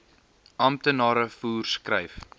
amptenare voer skryf